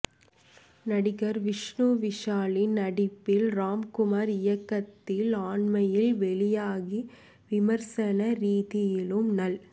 நடிகர் விஷ்ணு விஷாலின் நடிப்பில் ராம் குமாரின் இயக்கத்தில் அண்மையில் வெளியாகி விமர்சன ரீதியிலும் நல்